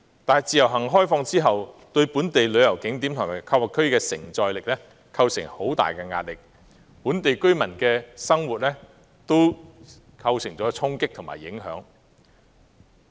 但是，開放自由行亦對本地旅遊景點和購物區的承載力構成極大壓力，並對本地居民的生活產生衝擊和影響。